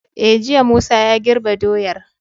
E jiya Musa ya girbe doyar